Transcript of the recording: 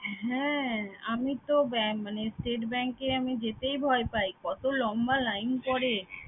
হ্যাঁ আমি তো এর মানে State Bank এ আমি যেতেই ভয় পাই কত লম্বা line পড়ে